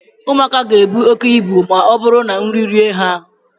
ụmụaka ga-ebu oke ibu ma ọ bụrụ na nri rie ha ahụ